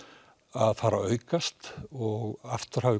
að fara að aukast og aftur hafi